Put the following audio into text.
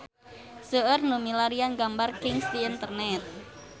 Seueur nu milarian gambar Kings di internet